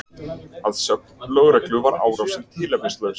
Að sögn lögreglu var árásin tilefnislaus